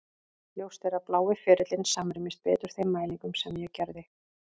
Ljóst er að blái ferillinn samrýmist betur þeim mælingum sem ég gerði.